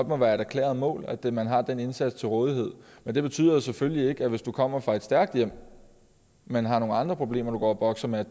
må være et erklæret mål at man har den indsats til rådighed men det betyder selvfølgelig ikke at du hvis du kommer fra et stærkt hjem men har nogle andre problemer du går og bokser med